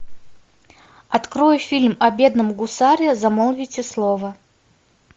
открой фильм о бедном гусаре замолвите слово